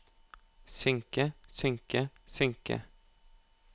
synke synke synke